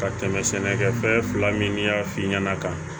Ka tɛmɛ sɛnɛkɛfɛn fila min y'a f'i ɲɛna ka